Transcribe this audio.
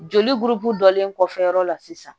Joli buru dɔlen kɔfɛ yɔrɔ la sisan